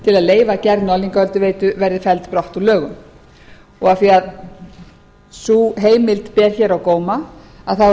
leyfa gerð norðlingaölduveitu verði felld brott úr lögum af því að sú heimild ber hér á góma er rétt að rifja